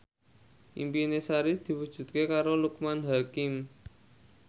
impine Sari diwujudke karo Loekman Hakim